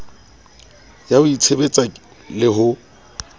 ya ho itshebetsa le ho